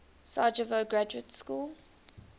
sarajevo graduate school